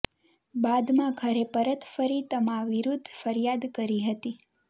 બાદમાં ઘરે પરત ફરી તમા વિરુધ્ધ ફરિયાદ કરી હતી